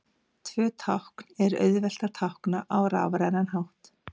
Tvö tákn er auðvelt að tákna á rafrænan hátt.